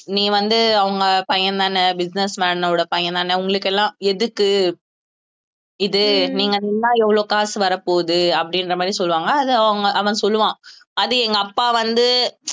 நீ வந்து அவங்க பையன் தானே business man ஓட பையன் தானே உங்களுக்கு எல்லாம் எதுக்கு இது நீங்க எவ்வளவு காசு வரப்போகுது அப்படின்ற மாதிரி சொல்லுவாங்க அது அவங்க அவன் சொல்லுவான் அது எங்க அப்பா வந்து